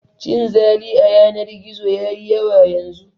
Cin zali a yanar gizo ya yi yawa yanzu